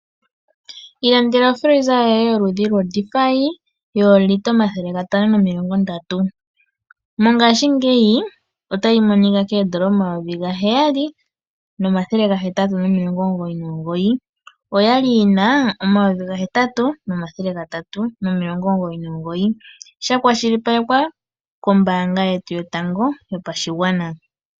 Ilandela o freezer yoye yoludhi lwo Defy yoolita omathele gatano momilongo ndatu. Mongashingeya otayi monika koondola omayovi gaheyali nomathele gahetatu nomilongo omugoyi nomugoyi, oya li yina omayovi gahetatu nomilongo omugoyi nomugoyi sha kwashilipaleke kombaanga yetu yotango yopashigwana.